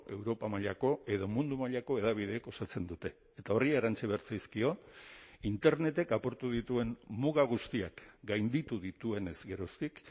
europa mailako edo mundu mailako hedabideek osatzen dute eta horri erantsi behar zaizkio internetek apurtu dituen muga guztiak gainditu dituenez geroztik